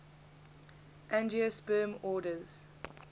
angiosperm orders